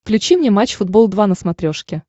включи мне матч футбол два на смотрешке